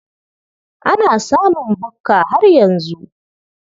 Ana samun bukka har yanzu.